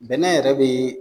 Nbɛnɛ yɛrɛ bɛ